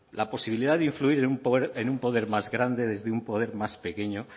la posibilidad de influir en un poder más grande desde un poder más pequeño